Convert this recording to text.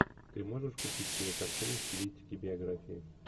ты можешь включить кинокартину в стилистике биография